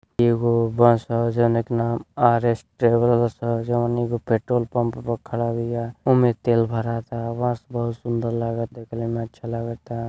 एगो बस ह जोना के नाम आर.एस. ट्रेवल्स ह। जउन एगो पेट्रोल पंप पे खड़ा बिया। ओमे तेल भरा ता। बस बहुत सुन्दर लगाता देखे में अच्छा लगता।